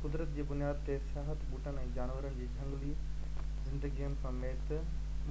قدرت جي بنياد تي سياحت ٻوٽن ۽ جانورن جي جهنگلي زندگين سميت